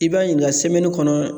I b'a ɲininka kɔnɔ